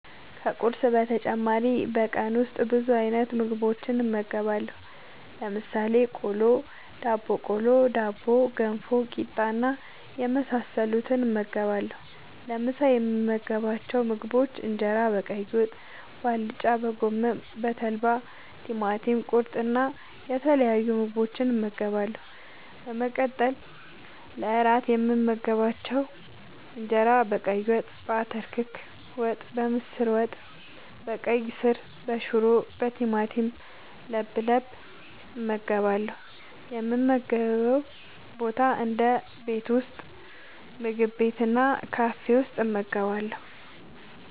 ከቁርስ በተጨማሪ በቀን ውስጥ ብዙ አይነት ምግቦችን እመገባለሁ። ለምሳሌ፦ ቆሎ፣ ዳቦቆሎ፣ ዳቦ፣ ገንፎ፣ ቂጣ እና የመሳሰሉትን እመገባለሁ። ለምሳ የምመገባቸው ምግቦች እንጀራ በቀይ ወጥ፣ በአልጫ፣ በጎመን፣ በተልባ፣ ቲማቲም ቁርጥ እና የተለያዩ ምግቦችን እመገባለሁ። በመቀጠል ለእራት የምመገባቸው እንጀራ በቀይ ወጥ፣ በአተር ክክ ወጥ፣ በምስር ወጥ፣ በቀይ ስር፣ በሽሮ፣ በቲማቲም ለብለብ እመገባለሁ። የምመገብበት ቦታ ደግሞ ቤት ውስጥ፣ ምግብ ቤት እና ካፌ ውስጥ እመገባለሁ።